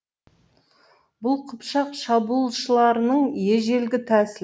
бұл қыпшақ шабуылшыларының ежелгі тәсілі